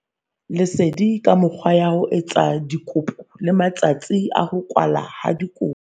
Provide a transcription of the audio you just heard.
Lesedi ka mekgwa ya ho etsa dikopo le matsatsi a ho kwalwa ha dikopo.